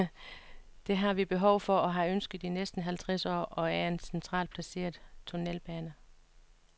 Det vi har behov for og har ønsket i næsten halvtreds år, er en centralt placeret tunnelbane.